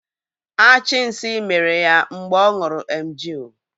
Achì nsí mèrè ya mgbe ọ ṅụrụ emgịl